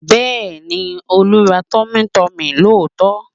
Bẹ́ẹ̀ni, Olú ra tummytummy lóòótọ́